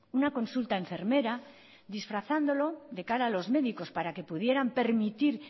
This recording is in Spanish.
una consulta enfermera disfrazándolo de cara a los médicos para que pudieran permitir